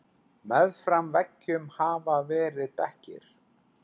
Meðfram veggjum hafa verið bekkir.